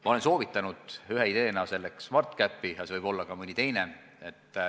Ma olen ühe ideena selleks soovitanud SmartCapi, aga see võib olla ka mõni teine.